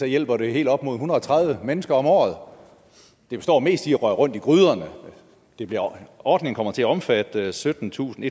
hjælper det helt op imod en hundrede og tredive mennesker om året det består mest i at røre rundt i gryderne ordningen kommer til at omfatte syttentusinde